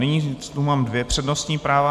Nyní tu mám dvě přednostní práva.